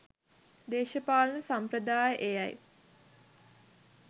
දේශපාලන සම්ප්‍රදාය එයයි.